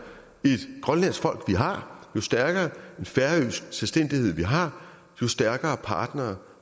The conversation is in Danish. et grønlandsk folk vi har jo stærkere en færøsk selvstændighed vi har jo stærkere partnere